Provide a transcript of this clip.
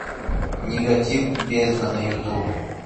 нигатив бездна на ютуб